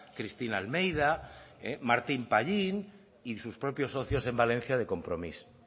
cristina almeida martín pallín y sus propios socios en valencia de compromís